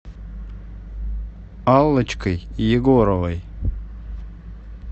аллочкой егоровой